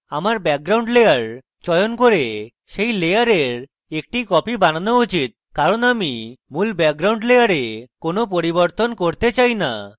আসলে আমার background layer চয়ন করে সেই layer একটি copy বানানো উচিত কারণ আমি মূল background layer কোনো পরিবরতন করতে চাই না